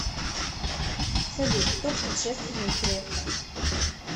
салют кто предшественник грефа